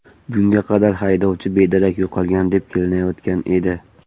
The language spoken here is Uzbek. Bunga qadar haydovchi bedarak yo‘qolgan deb kelinayotgan edi.